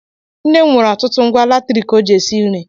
Nne m nwere ọtụtụ ngwa latriki ọ ji esi nri.